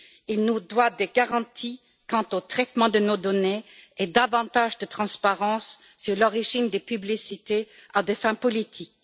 Il nous doit des garanties quant au traitement de nos données et davantage de transparence sur l'origine des publicités à des fins politiques.